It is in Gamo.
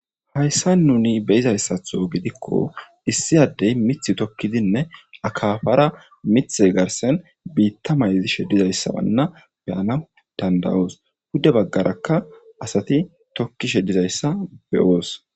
Hayssa nuni beyizayssatho gidikko issi addey mith tokkidinne akafara mithe garsen biitta mayzi sheddizayssabanna beyana dandayoos budde baggarakka asati tokkishe dizayssa beyoos